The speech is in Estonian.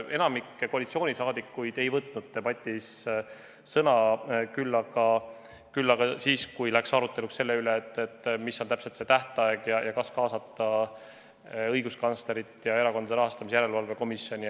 Enamik koalitsioonisaadikuid ei võtnud debatis sõna, küll aga siis, kui läks aruteluks selle üle, mis võiks olla see tähtaeg ja kas tuleks veel kaasata õiguskantslerit ja Erakondade Rahastamise Järelevalve Komisjoni.